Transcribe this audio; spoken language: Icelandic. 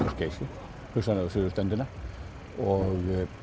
og Geysi hugsanlega á suður ströndina og